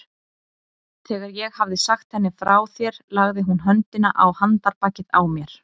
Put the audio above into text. Þegar ég hafði sagt henni frá þér lagði hún höndina á handarbakið á mér.